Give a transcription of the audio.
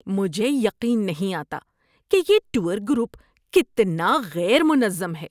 مجھے یقین نہیں آتا کہ یہ ٹور گروپ کتنا غیر منظم ہے۔